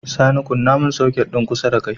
Sani kunna mun soket din kusa dakai